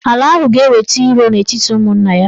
Ala ahụ ga-eweta iro n'etiti ụmụnna ya.